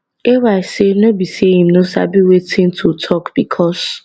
ay tok say no be say im no sabi wetin wetin to tok becos